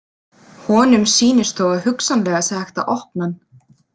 Honum sýnist þó að hugsanlega sé hægt að opna hann.